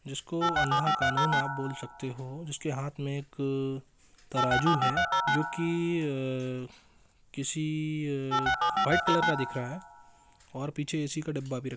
जिसको अंधा कानून आप बोल सकते हो जिसके हाथ में एक तराजू है जो की अ किसी अ व्हाइट कलर का दिख रहा है और पीछे ऐ_सी का डब्बा भी रखा--